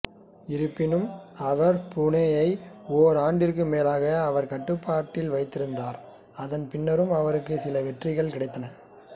இருப்பினும் அவர் பூனேயை ஓர் ஆண்டிற்கும் மேலாக அவரின் கட்டுப்பாட்டில் வைத்திருந்தார் அதன் பின்னரும் அவருக்கு சில வெற்றிகள் கிடைத்தன